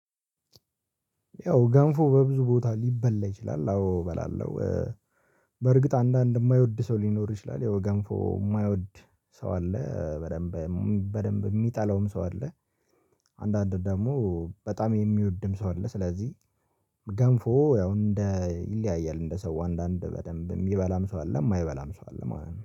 ያው ገንፎ በብዙ ቦታ ሊበላ ይችላል አዎ እበላለሁ። በርግጥ አንዳንድ የማይወድ ሰው ሊኖር ይችላል ያው ገንፎ የማይወድ ሰው አለ። በደንብ በደንብ የሚጠላውም ሰው አለ። አንዳንድ ደግሞ በጣም የሚወድም ሰው አለ። ስለዚህ ገንፎ ያው እንደ ይለያያል እንደ ሰው አንዳንድ በደንብ የሚበላም ሰው አለ ማይበላም ሰው አለም ማለት ነው